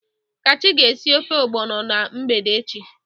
Kachi ga esi ofe ogbono na mgbede echi.